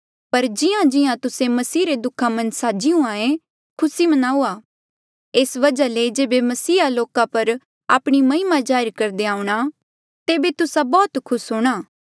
पर जिहांजिहां तुस्से मसीह रे दुःखा मन्झ साझी हुंहां ऐें खुसी मनाऊआ एस वजहा ले जेबे मसीहा लोका पर आपणी महिमा जाहिर करदे आऊंणा तेबे तुस्सा बौह्त ज्यादा खुस हूंणा